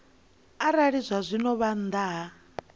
arali zwazwino vha nnḓa ha